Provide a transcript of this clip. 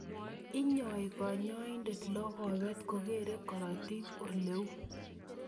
Inyoi kanyoindet logobet kokero korotik oleu